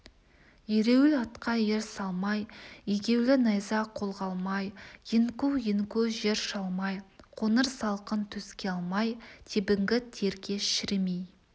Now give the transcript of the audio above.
ереуіл атқа ер салмай егеулі найза қолға алмай еңку-еңку жер шалмай қоңыр салқын төске алмай тебінгі терге шірімей